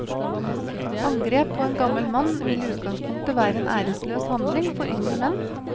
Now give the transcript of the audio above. Angrep på en gammel mann vil i utgangspunktet være en æreløs handling for yngre menn.